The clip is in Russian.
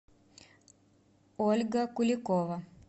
ольга куликова